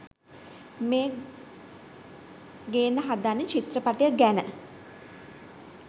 මේ ගෙන්න හදන චිත්‍රපටය ගැන